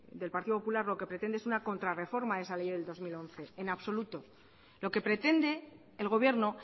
del partido popular lo que pretende es una contrarreforma del esa ley del dos mil once en absoluto lo que pretende el gobierno